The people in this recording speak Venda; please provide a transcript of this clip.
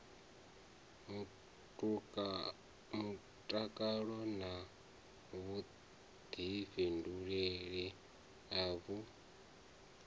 mutakalo na vhuḓifhinduleli a vhu